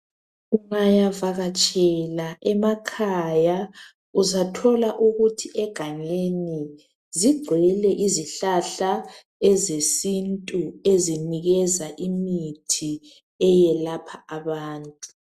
Ungayavatshela emakhaya uzathola ukuthi egangeni zigcwele izihlahla ezesintu ezinikeza imithi eyelapha abantu.